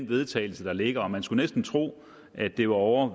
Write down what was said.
vedtagelse der ligger og man skulle næsten tro at det var ovre